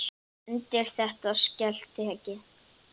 Undir þetta skal tekið.